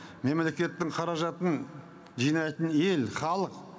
мемлекеттің қаражатын жинайтын ел халық